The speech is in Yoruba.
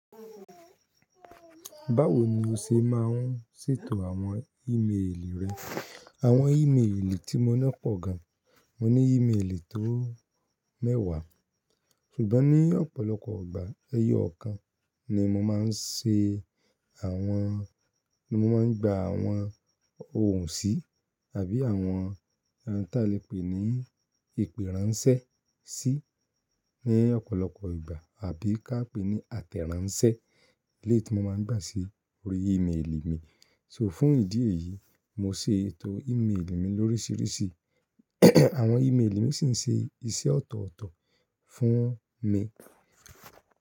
Báwo ni o ṣe máa ń ṣètò àwọn ímeèlì rẹ? Àwọn ímeèlì tí mo ná pọ̀ gan. Mo ní ímeèlì tó mẹ́wàá, ṣùgbọ́n ní ọ̀pọ̀lọpọ̀ ìgbà, ẹyọ kan ni mo máa ń ṣe àwọn, ni mo máa ń gba àwọn ohùn sí àbí àwọn, bí a lè pè ní ìpèránṣẹ́ tí ní ọ̀pọ̀lọpọ̀ ìgbà àbí ká pè ní àtẹ̀ránṣẹ́ lè tí mo máa ń gbà sí orí ímeèlì mi. So, fún ìdí èyí, mo ṣètò ímeèlì mi lórísìírísì. Àwọn ímeèlì mi sì ń ṣe iṣẹ́ ọ̀tọ̀ọ̀tọ̀ fún mi.